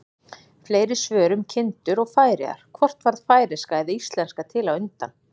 Fleiri svör um kindur og Færeyjar: Hvort varð færeyska eða íslenska til á undan?